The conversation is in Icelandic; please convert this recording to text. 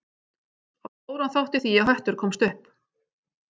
Á stóran þátt í því að Höttur komst upp.